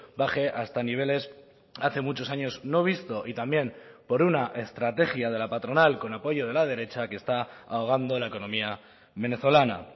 baje hasta niveles hace muchos años no visto y también por una estrategia de la patronal con apoyo de la derecha que está ahogando la economía venezolana